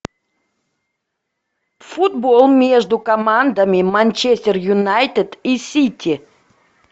футбол между командами манчестер юнайтед и сити